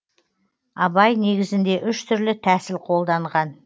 абай негізінде үш түрлі тәсіл қолданған